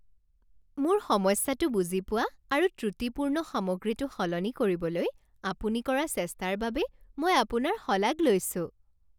মোৰ সমস্যাটো বুজি পোৱা আৰু ত্ৰুটিপূৰ্ণ সামগ্ৰীটো সলনি কৰিবলৈ আপুনি কৰা চেষ্টাৰ বাবে মই আপোনাৰ শলাগ লৈছোঁ